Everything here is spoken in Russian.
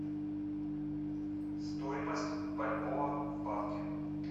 стоимость бальбоа в банке